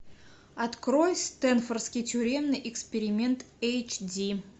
открой стэнфордский тюремный эксперимент эйч ди